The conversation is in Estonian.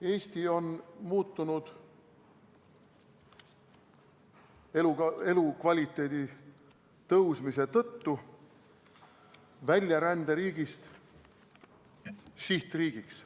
Eesti on elukvaliteedi tõusmise tõttu muutunud väljaränderiigist sihtriigiks.